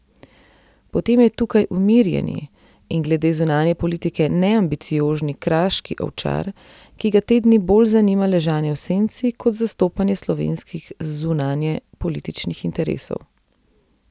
Potem je tukaj umirjeni in glede zunanje politike neambiciozni kraški ovčar, ki ga te dni bolj zanima ležanje v senci kot zastopanje slovenskih zunanjepolitičnih interesov.